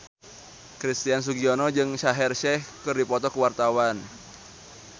Christian Sugiono jeung Shaheer Sheikh keur dipoto ku wartawan